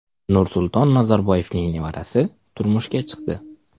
Nursulton Nazarboyevning nevarasi turmushga chiqdi.